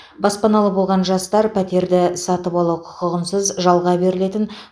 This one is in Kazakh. баспаналы болған жастар пәтерді сатып алу құқығынсыз жалға берілетін